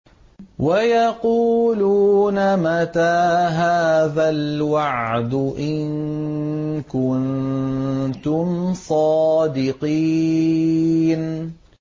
وَيَقُولُونَ مَتَىٰ هَٰذَا الْوَعْدُ إِن كُنتُمْ صَادِقِينَ